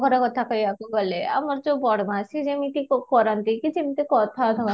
ଘର କଥା କହିବାକୁ ଗଲେ ଆମର ଯାଉ ବଡ ମାଉସୀ ଯେମିତି କରନ୍ତି କିଛି ଗୋଟେ କଥା